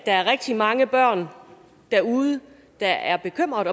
er rigtig mange børn derude der er bekymrede